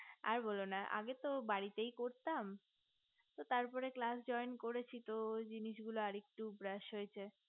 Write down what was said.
আর বোলো না আগে তো বাড়িতেই করতাম তার পর class joint করেছি তো ওই জিনিস গুলা আর একটু brash হয়েছে